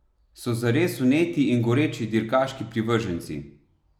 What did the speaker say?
So zares vneti in goreči dirkaški privrženci!